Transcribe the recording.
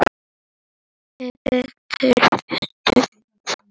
Með berum höndum.